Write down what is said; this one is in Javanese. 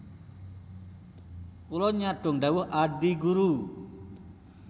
Kula nyadhong dhawuh Adi Guru